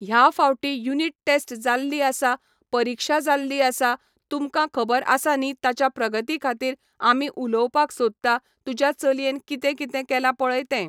ह्या फावटी unit test जाल्ली आसा परीक्षा जाल्ली आसा तुमकां खबर आसा न्ही ताच्या प्रगती खातीर आमी उलोवपाक सोदता तुज्या चलयेन कितें कितें केला पळय तें